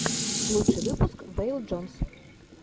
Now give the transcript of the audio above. лучший выпуск вэйл джонс